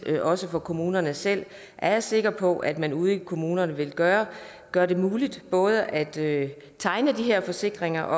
men også for kommunerne selv er jeg sikker på at man ude i kommunerne vil gøre gøre det muligt både at tegne de her forsikringer